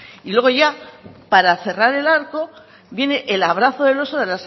y luego ya para cerrar el arco viene el abrazo del oso de